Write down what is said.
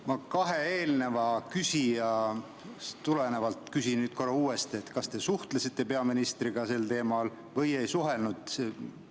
Ma kahe eelneva küsija küsimusest tulenevalt küsin nüüd uuesti: kas te suhtlesite peaministriga sel teemal või ei suhelnud?